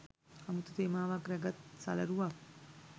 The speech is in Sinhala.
අමුතු තේමාවක් රැගත් සලරුවක්